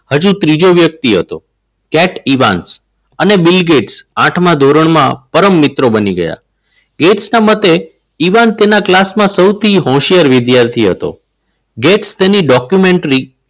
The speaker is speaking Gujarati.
હજુ ત્રીજો વ્યક્તિ હતો. કેટ ઇવેન્સ અને બિલ ગેટ્સ આઠમા ધોરણમાં પરમ મિત્રો બની ગયા. ગેસ ના મતે ઇવન તેના ક્લાસમાં સૌથી હોશિયાર વિદ્યાર્થી હતો. ગેટ્સ તેના ડોક્યુમેન્ટ